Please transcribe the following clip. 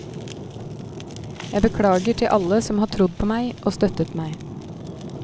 Jeg beklager til alle som har trodd på meg og støttet meg.